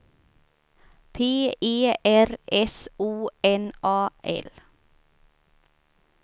P E R S O N A L